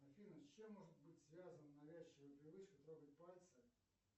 афина с чем может быть связана навязчивая привычка трогать пальцы